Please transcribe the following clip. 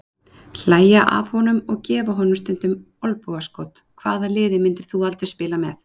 Hlægja af honum og gefa honum stundum olnbogaskot Hvaða liði myndir þú aldrei spila með?